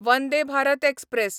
Vande Bharat express